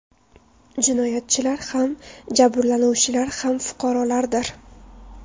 Jinoyatchilar ham, jabrlanuvchilar ham fuqarolardir.